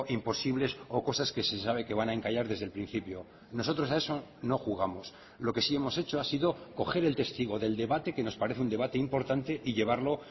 imposibles o cosas que se sabe que van a encallar desde el principio nosotros a eso no jugamos lo que sí hemos hecho ha sido coger el testigo del debate que nos parece un debate importante y llevarlo